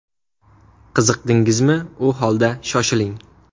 Qiziqdingizmi, u holda, shoshiling!